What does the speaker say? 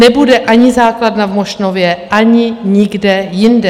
Nebude ani základna v Mošnově, ani nikde jinde.